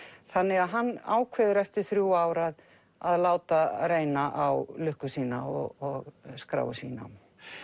þannig að hann ákveður eftir þrjú ár að að láta reyna á lukku sína og skráir sig í nám